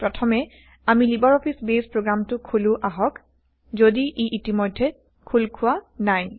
প্ৰথমে আমি LibreOffice base প্ৰগ্ৰামটো খোলো আহক যদি ই ইতিমধ্যে খোলা হোৱা নাই